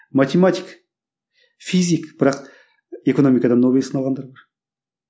математик физик бірақ экономикадан нобель сыйлығын алғандар бар